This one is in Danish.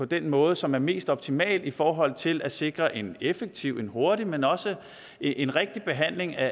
den måde som er mest optimal i forhold til at sikre en effektiv en hurtig men også en rigtig behandling af